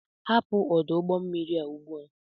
Hapụ ọdụ ụgbọ mmiri a ugbu a!